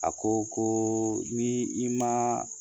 A ko ko n'i i ma